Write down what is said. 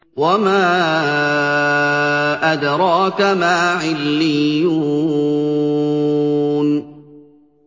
وَمَا أَدْرَاكَ مَا عِلِّيُّونَ